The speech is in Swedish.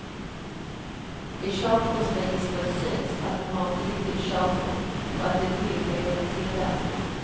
I körkortsregistret syns att han har ett giltigt körkort och att ett nytt är under tillverkning.